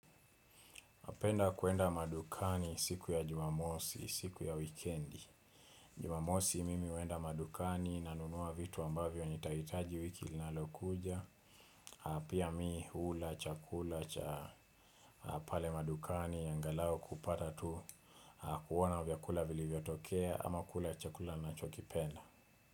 Napenda kuenda madukani siku ya jumamosi, siku ya wikendi. Jumamosi mimi huenda madukani, nanunua vitu ambavyo nitahitaji wiki linalokuja. Pia mi hula, chakula cha, pale madukani, angalau kupata tu kuona vyakula vilivyotokea ama kula chakula nachokipenda.